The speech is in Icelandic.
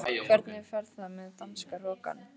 Hvernig fer það með danska hrokann?